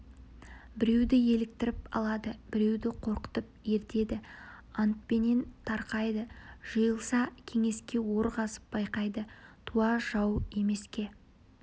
біреуді еліктіріп алады біреуді қорқытып ертеді антпенен тарқайды жиылса кеңеске ор қазып байқайды туа жау емеске